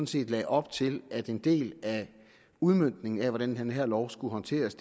set lagde op til at en del af udmøntningen af hvordan den her lov skulle håndteres